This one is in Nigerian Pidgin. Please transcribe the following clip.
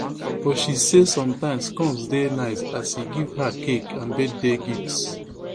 but she say sometimes combs dey nice as e give her cake and birthday gifts